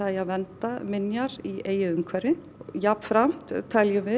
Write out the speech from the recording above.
eigi að vernda minjar í eigin umhverfi og jafnframt tel ég